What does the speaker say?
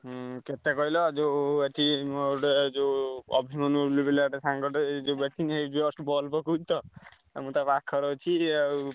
ହୁଁ କେତେ କହିଲଯୋଉ ଅଛି ଗୋଟେ ଯୋଉ ଅଭିମନ୍ୟୁ ବୋଲି ଗୋଟେ ପିଲାଟେ ସାଙ୍ଗ ଟେ just ball ପକଉଛି ତ ଆଉ ମୁଁ ତା ପାଖରେ ଅଛି ଆଉ।